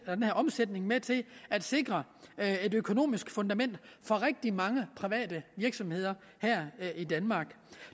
er den her omsætning med til at sikre et økonomisk fundament for rigtig mange private virksomheder her i danmark